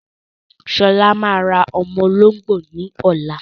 Ṣọlá máa ra ọmọ olóngbò ní ọ̀la.